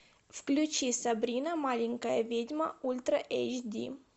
включи сабрина маленькая ведьма ультра эйч ди